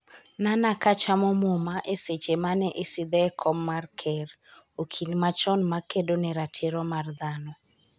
Nana ka chamo muma eseche mane isidhe e kom mar ker, okil machon makedo ne ratiro mar dhano